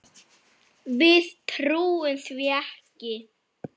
Þetta var merkur áfangi.